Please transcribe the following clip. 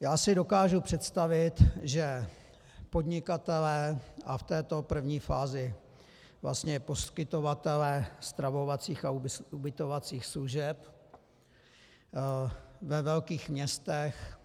Já si dokážu představit, že podnikatelé, a v této první fázi vlastně poskytovatelé stravovacích a ubytovacích služeb ve velkých městech,